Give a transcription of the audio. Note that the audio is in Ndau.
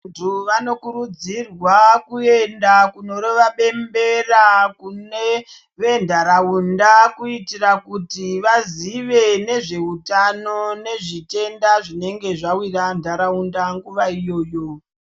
Vantu vanokurudzirwa kuenda kunorova bembera kune ventaraunda. Kuitira kuti vazive nezveutano nezvitenda zvinenge zvavira ntaraunda nguva iyoyo.